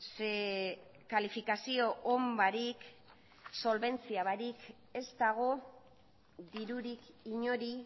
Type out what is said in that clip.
zeren eta kalifikazio on barik ez dago dirurik inori